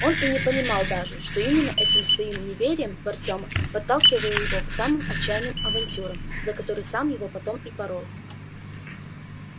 он и не понимал даже что именно этим своим неверием в артёма подталкивал его к самым отчаянным авантюрам за которые сам его потом и порол